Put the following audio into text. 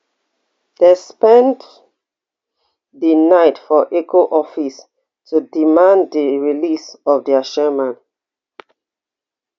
dem spend di night for eoco office to demand di release of dia chairman